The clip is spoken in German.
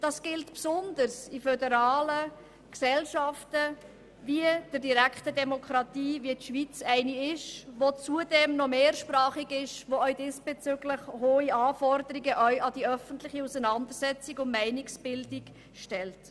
Dies gilt besonders in föderalen Gesellschaften wie der Schweiz, mit ihrer direkter Demokratie und ihrer Mehrsprachigkeit, die zusätzlich hohe Anforderungen an die öffentliche Auseinandersetzung und Meinungsbildung stellt.